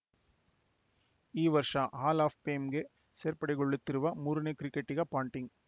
ಈ ವರ್ಷ hall of ಫೇಮ್‌ಗೆ ಸೇರ್ಪಡೆಗೊಳ್ಳುತ್ತಿರುವ ಮೂರನೇ ಕ್ರಿಕೆಟಿಗ ಪಾಂಟಿಂಗ್‌